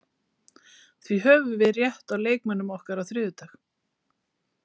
Því höfum við rétt á leikmönnum okkar á þriðjudag.